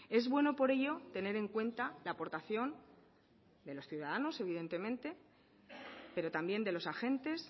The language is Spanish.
es bueno por ello tener en cuenta la aportación de los ciudadanos evidentemente pero también de los agentes